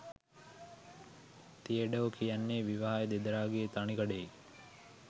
තියඩෝ කියන්නේ විවාහය දෙදරා ගිය තනිකඩයෙක්.